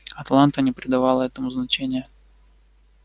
атланта не придавала этому значения